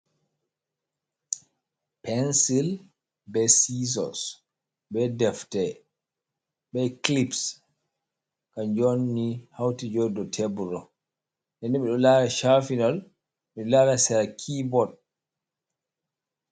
Pensil be sisos be defte be kilips. Kan jo onni hauti joɗi ɗow tebur ɗo. Ɗenɗe mi ɗo lara shafinal beɗo lara sera kebot.